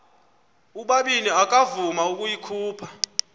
ubabini akavuma ukuyikhupha